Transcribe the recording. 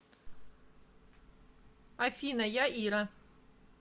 афина я ира